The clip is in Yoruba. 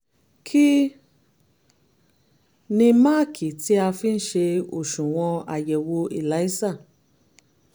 kí ni máàkì tí a fi ń ṣe òṣùwọ̀n àyẹ̀wò elisa?